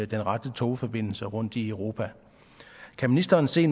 den rette togforbindelse rundt i europa kan ministeren se